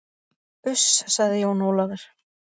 Uss, sagði Jón Ólafur.